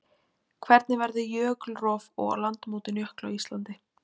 Hvernig verður jökulrof og landmótun jökla á Íslandi?